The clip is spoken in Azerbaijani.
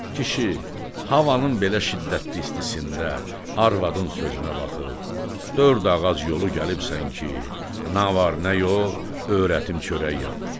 Kişi, havanın belə şiddətli istisində arvadın sözünə baxıb, dörd ağac yolu gəlibsən ki, na var nə yox, öyrətim çörək yapır.